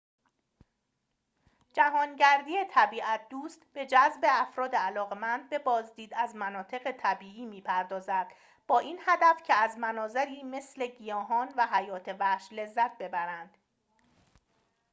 جهانگردی طبیعت‌دوست به جذب افراد علاقه‌مند به بازدید از مناطق طبیعی می‌پردازد با این هدف که از مناظری مثل گیاهان و حیات وحش لذت ببرند